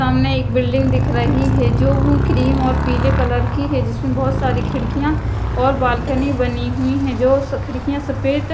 सामने एक बिल्डिंग दिख रही है जो क्रीम और पीले कलर की है जिसमें बहुत सारी खिड़कियां और बालकनी बनी हुई हैं जो खिड़कियां सफेद--